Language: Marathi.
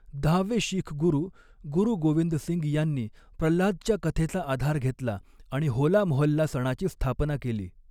दहावे शीख गुरू गुरु गोविंद सिंग यांनी प्रल्हादच्या कथेचा आधार घेतला आणि होला मोहल्ला सणाची स्थापना केली.